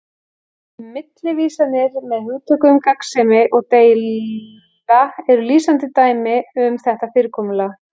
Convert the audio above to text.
Millivísanir með hugtökunum gagnsemi og deila eru lýsandi dæmi um þetta fyrirkomulag